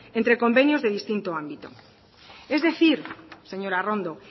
entre convenios de distintos ámbitos es decir señora arrondo